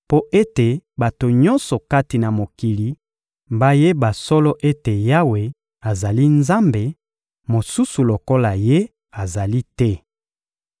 mpo ete bato nyonso kati na mokili bayeba solo ete Yawe azali Nzambe, mosusu lokola Ye azali te.